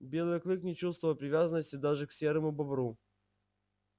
белый клык не чувствовал привязанности даже к серому бобру